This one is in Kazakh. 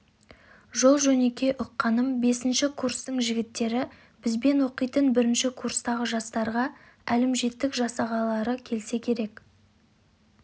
жол жөнекей ұққаным бесінші курстың жігіттері бізбен оқитын бірінші курстағы жастарға әлімжеттік жасағылары келсе керек